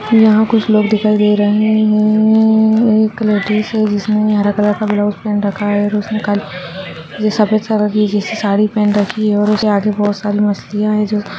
यहां कुछ लोग दिखाई दे रहे है एक लेडिस है जिस ने हरे कलर{ का ब्लाउज पहन रखा है सफ़ेद कलर की साड़ी पहन रखी है उस से आगे बहुत सारी मछलिया है। }